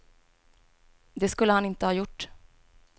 Det skulle han inte ha gjort.